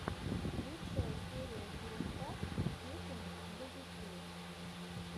лучшая серия теремка песенок для детей